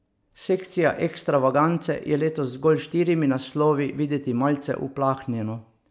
Sekcija Ekstravagance je letos z zgolj štirimi naslovi videti malce uplahnjeno.